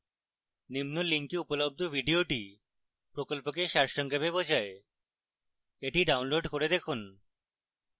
নিম্ন link উপলব্ধ video প্রকল্পকে সারসংক্ষেপ বোঝায় the download করে দেখুন